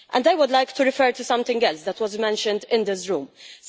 And I would like to refer to something else that was mentioned in this Chamber.